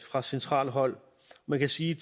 fra centralt hold man kan sige